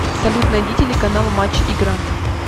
салют найди телеканал матч игра